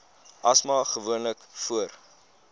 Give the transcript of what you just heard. asma gewoonlik voor